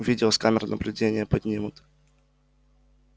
видео с камер наблюдения поднимут